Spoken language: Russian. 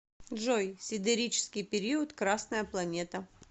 джой сидерический период красная планета